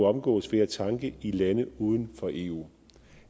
omgås ved at tanke i lande uden for eu